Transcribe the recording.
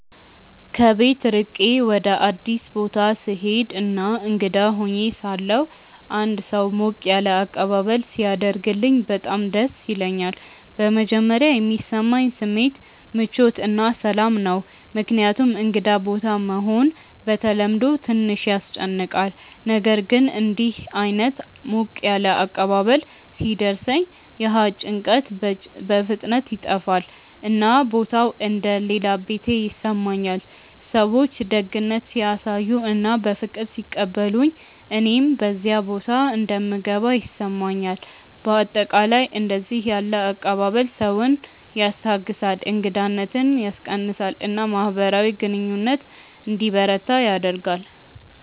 ከቤት ርቄ ወደ አዲስ ቦታ ስሄድ እና እንግዳ ሆኜ ሳለሁ አንድ ሰው ሞቅ ያለ አቀባበል ሲያደርግልኝ በጣም ደስ ይለኛል። በመጀመሪያ የሚሰማኝ ስሜት ምቾት እና ሰላም ነው፣ ምክንያቱም እንግዳ ቦታ መሆን በተለምዶ ትንሽ ያስጨንቃል። ነገር ግን እንዲህ ዓይነት ሞቅ ያለ አቀባበል ሲደርሰኝ ያ ጭንቀት በፍጥነት ይጠፋል፣ እና ቦታው እንደ “ ሌላ ቤቴ ” ይሰማኛል። ሰዎች ደግነት ሲያሳዩ እና በፍቅር ሲቀበሉኝ እኔም በዚያ ቦታ እንደምገባ ይሰማኛል። በአጠቃላይ እንዲህ ያለ አቀባበል ሰውን ያስታግሳል፣ እንግዳነትን ያስቀንሳል እና ማህበራዊ ግንኙነት እንዲበረታ ያደርጋል።